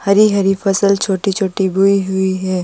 हरी-हरी फसल छोटी -छोटी बोई हुई है।